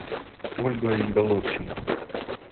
ольгой головченко